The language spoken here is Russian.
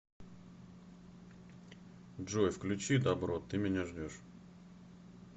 джой включи дабро ты меня ждешь